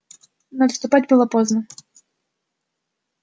но отступать было поздно